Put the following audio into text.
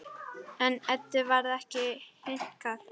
En Eddu varð ekki hnikað.